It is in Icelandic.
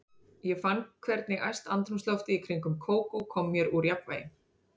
Ég fann hvernig æst andrúmsloftið í kringum Kókó kom mér úr jafnvægi.